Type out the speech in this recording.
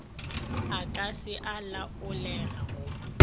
a ka se a laolego